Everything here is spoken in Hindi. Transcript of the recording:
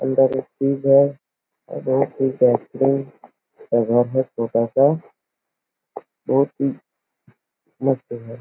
अंदर एक फ्रिज है और बहुत ही बेहतरीन सा घर है छोटा सा बहुत ही मस्त है।